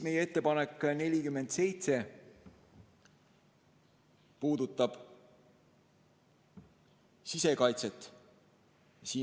Meie ettepanek nr 47 puudutab sisekaitset.